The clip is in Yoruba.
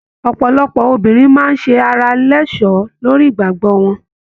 Ọpọlọpọ obìnrin máa se ará lọsọ́ lórí ìgbàgbọ wọn.